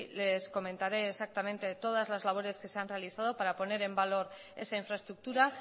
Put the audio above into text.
les comentaré exactamente de todas las labores que se han realizado para poner en valor esa infraestructura